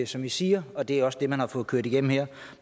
som i siger og det er også det man har fået kørt igennem her